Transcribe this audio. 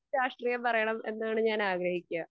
രാക്ഷ്ട്രീയം പറയണം എന്നാണ് ഞാൻ ആഗ്രഹിക്ക.